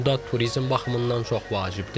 Bu da turizm baxımından çox vacibdir.